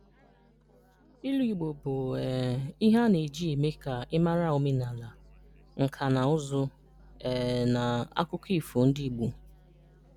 Ilu Igbo bụ um ihe a na-eji eme ka ị mara omenala, nkà na uzu, um na akụkọ ifo ndị Igbo.